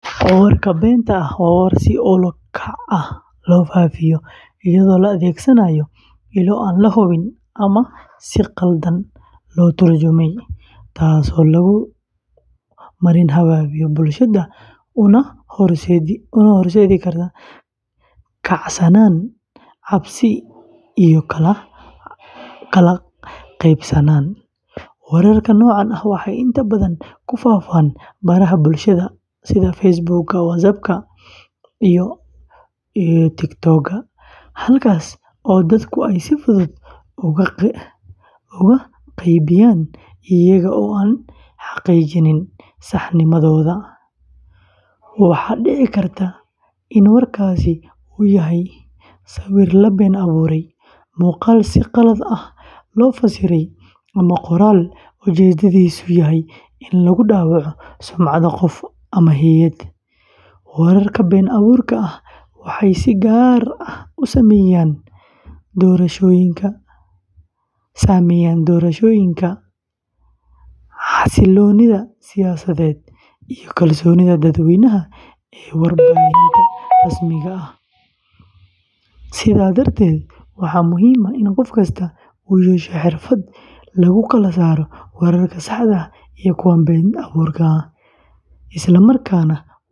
Warka beenta ah, waa warar si ula kac ah loo faafiyo iyadoo la adeegsanayo ilo aan la hubin ama si khaldan loo turjumay, taas oo lagu marin habaabiyo bulshada una horseedi karta kacsanaan, cabsi, iyo kala qaybsanaan. Wararka noocan ah waxay inta badan ku faafaan baraha bulshada sida Facebook, WhatsApp, TikTok, halkaas oo dadku ay si fudud ugu qaybiyaan iyaga oo aan xaqiijin saxnimadooda. Waxaa dhici karta in warkaasi uu yahay sawir la been abuuray, muuqaal si qalad ah loo fasiray, ama qoraal ujeedkiisu yahay in lagu dhaawaco sumcadda qof ama hay’ad. Wararka been abuurka ah waxay si gaar ah u saameeyaan doorashooyinka, xasilloonida siyaasadeed, iyo kalsoonida dadweynaha ee warbaahinta rasmiga ah. Sidaa darteed, waxaa muhiim ah in qof kasta uu yeesho xirfad lagu kala saaro wararka saxda ah iyo kuwa been abuurka ah, islamarkaana.